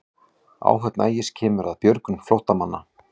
Áhöfn Ægis kemur að björgun flóttamanna